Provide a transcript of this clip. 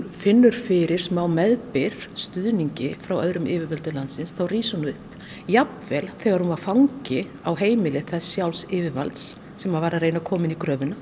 finnur fyrir smá meðbyr stuðningi frá öðrum yfirvöldum landsins þá rís hún upp jafnvel þegar hún var fangi á heimili þess sjálfs yfirvalds sem var að reyna að koma henni í gröfina